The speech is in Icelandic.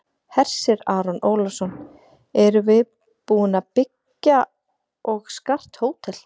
Hersir Aron Ólafsson: Erum við búin að byggja og skart hótel?